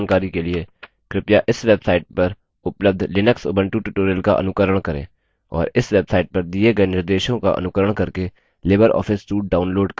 कृपया इस website पर उपलब्ध लिनक्स उबंटु tutorials का अनुकरण करें और इस वेब suite पर दिए गए निर्देशों का अनुकरण करके लिबर ऑफिस suite download करें